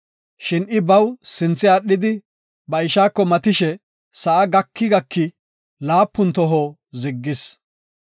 Shin I baw sinthe aadhidi ba ishaako matishe sa7a gaki gaki laapuntoho ziggis.